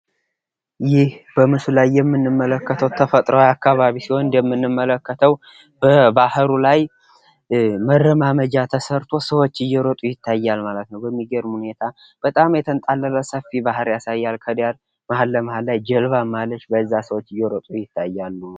ይህ በምስሉ ላይ የምንመለከተው ተፈጥሯዊ አካባቢ ሲሆን እንደምንመለከተው በባህሩ ላይ መረማመጃ ተሰርቶ ሰዎች እየሮጡ ይታያል ማለት ነው:: በሚገርም ሁኔታ በጣም የተንጣለለ ሰፊ ባህር ያሳያል ከዳር መሃል ለመሃል ላይ ጀልባም አለች በዛም ሰዎች እየሮጡ ይታያሉ::